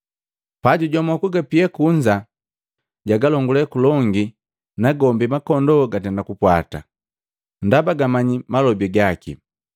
Pajujomo kugapia kunza, jagalongule kulongi nagombi makondoo gatenda kumpwata, ndaba gijimanya malobi jaki.